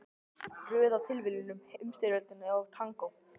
Röð af tilviljunum, Heimsstyrjöldin og tangó.